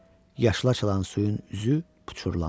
Yaşılaçılan suyun üzü poçurlandı.